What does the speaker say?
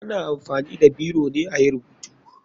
Ana amfani da biro ne ayi rubutu.